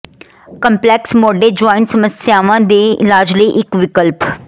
complex ਮੋਢੇ joint ਸਮੱਸਿਆਵਾਂ ਦੇ ਇਲਾਜ ਲਈ ਇੱਕ ਵਿਕਲਪ